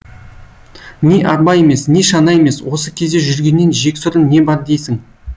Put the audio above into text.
не арба емес не шана емес осы кезде жүргеннен жексұрын не бар дейсің